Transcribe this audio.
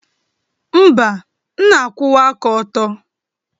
Mba, m na-akwụwa aka ọtọ.